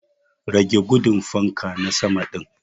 Rage gudun fanka na sama din.